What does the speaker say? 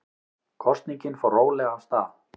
Kosningin fór rólega af stað